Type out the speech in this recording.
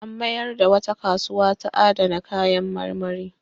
An mayar da wata kasuwa ta adana kayan marmari.